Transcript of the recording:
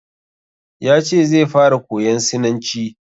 Ya ce zai fara koyan sinanci.